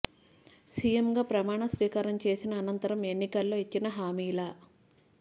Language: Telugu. సీఎం గా ప్రమాణ స్వీకారం చేసిన అనంతరం ఎన్నికల్లో ఇచ్చిన హామీల